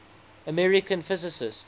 american physicists